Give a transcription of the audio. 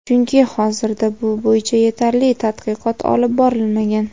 chunki hozirda bu bo‘yicha yetarli tadqiqot olib borilmagan.